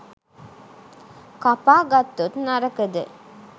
කපා ගත්තොත් නරකද?